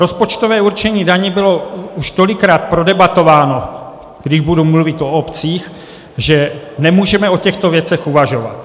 Rozpočtové určení daní bylo už tolikrát prodebatováno, když budu mluvit o obcích, že nemůžeme o těchto věcech uvažovat.